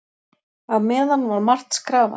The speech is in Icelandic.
Á meðan var margt skrafað.